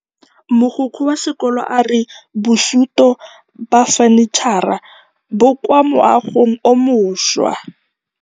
Mogokgo wa sekolo a re bosutô ba fanitšhara bo kwa moagong o mošwa.